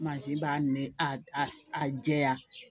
b'a nɛ a a jɛya